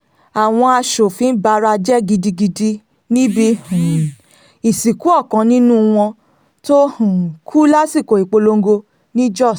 àwọn aṣòfin bara jẹ́ gidigidi níbi um ìsìnkú ọkàn nínú wọn tó um kú lásìkò ìpolongo ni jóṣ